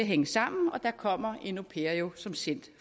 hænge sammen og der kommer en au pair jo som sendt